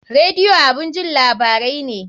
Radio abun jin labarai ne